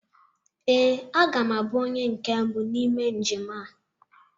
Ee, aga m abụ onye nke mbụ n'ime njem a.